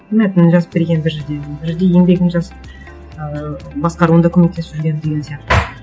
мәтінін жазып берген бір жерде бір жерде еңбегін жазып ыыы басқаруында көмектесіп жүрген деген сияқты